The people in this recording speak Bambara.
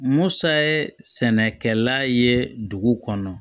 Musa ye sɛnɛkɛla ye dugu kɔnɔ